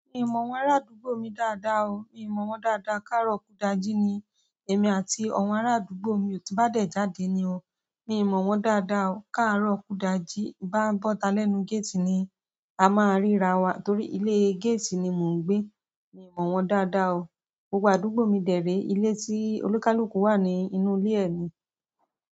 Mi ò mọ àwọn arádúgbò mi dáadáa o. Mi ò mọ̀ wọ́n dáadáa. Kárọ̀ọ̀ kúdají ni èmi àti àwọn arádúgbò mi o, tí n bá dẹ̀ jáde ni o. Mi ò mọ̀ wọ́n dáadáa o. Kárọ̀ọ̀ kú'dají tin bá bọ́ta lẹ́nu gate ni a máa ríra wa torí ilé gate ni mò ń gbé. Mi ò mọ̀ wọ́n dáadáa o. Gbogbo àdúgbò mi dèérè. Ile ti olukaluku wa ni inú ile e ni.